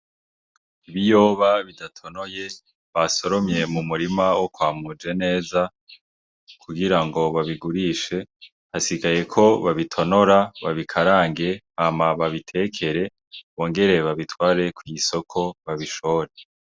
Ibiyoba bidatonoye basoromye mumurima wo kwa Mujeneza kugirango babigurishe hasigaye ko babitonora babikarange hama babitekere bonger babitware kw'isoko babishore.